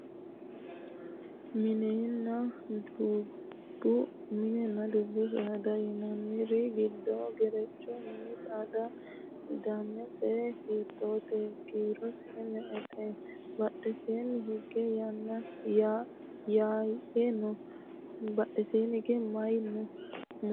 mininna dubbbu saada yinanniri giddo gerecho mini saadaati danise hiittooho? kiirose me"ete? badheseenni hige maye no? mulese albaanni hige maye no?